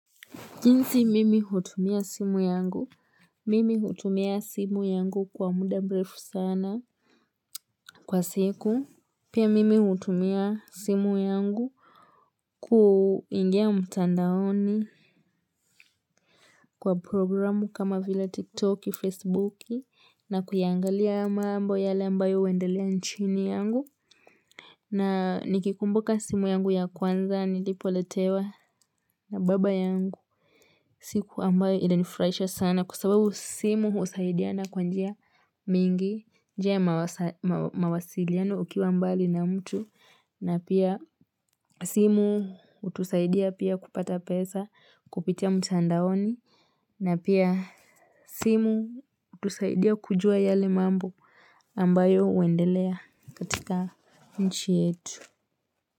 Jinsi mimi hutumia simu yangu, mimi hutumia simu yangu kwa muda mrefu sana kwa siku, pia mimi hutumia simu yangu kuingia mtandaoni kwa programu kama vila tiktoki, facebooki, na kuyangalia maambo yale ambayo huendelea nchini yangu, na nikikumbuka simu yangu ya kwanza, nilipo letewa na baba yangu. Siku ambayo inanifurahisha sana kwa sababu simu husaidiana kwa njia mingi. Njia ya mawasiliano ukiwa mbali na mtu na pia simu hutusaidia pia kupata pesa kupitia mtandaoni. Na pia simu hutusaidia kujua yale mambo ambayo huendelea katika nchi yetu.